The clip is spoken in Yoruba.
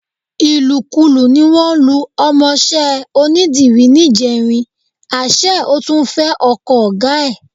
Ìlùkulù ni wọ́n lu ọmọọṣẹ́ onídìrí níjẹrin, àṣé ó tún fẹ ọkọ ọ̀gá ẹ̀.